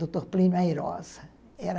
Dr. Plínio Airosa era...